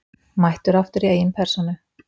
Mættur aftur í eigin persónu!